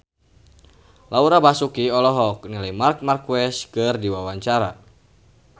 Laura Basuki olohok ningali Marc Marquez keur diwawancara